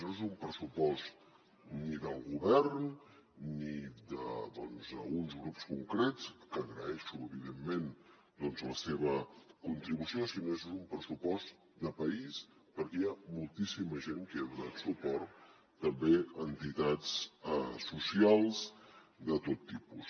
no és un pressupost ni del govern ni d’uns grups concrets que agraeixo evidentment doncs la seva contribució sinó que és un pressupost de país perquè hi ha moltíssima gent que hi ha donat suport també entitats socials de tot tipus